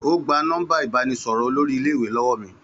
Ó gba nọ́mbà ìbánisọ̀rọ̀ olórí iléèwé lọ́wọ́ mi